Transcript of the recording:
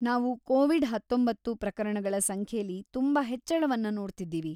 ನಾವು ಕೋವಿಡ್-ಹತೊಂಬತ್ತು ಪ್ರಕರಣಗಳ ಸಂಖ್ಯೆಲಿ ತುಂಬಾ ಹೆಚ್ಚಳವನ್ನ ನೋಡ್ತಿದೀವಿ.